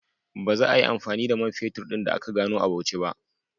Ba za ayi amfani da man fetur ɗin da aka gano a Bauchi ba